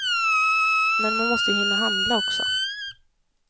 Men man måste ju hinna handla också.